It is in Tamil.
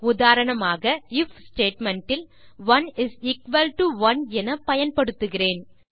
உதாரணமாக ஐஎஃப் ஸ்டேட்மெண்ட் இல் 11 என பயன்படுத்துகிறேன்